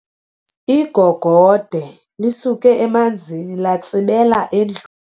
Igogode lisuke emanzini latsibela endlwi.